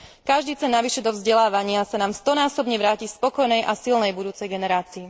Každý cent navyše do vzdelávania sa nám stonásobne vráti v spokojnej a silnej budúcej generácii.